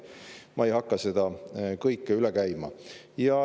Ma ei hakka seda kõike üle käima.